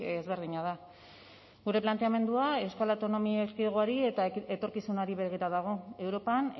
ezberdina da gure planteamendua euskal autonomia erkidegoari eta etorkizunari begira dago europan